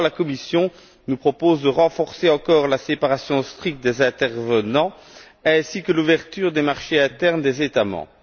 Pourtant, la Commission nous propose de renforcer encore la séparation stricte des intervenants ainsi que l'ouverture des marchés internes des États membres.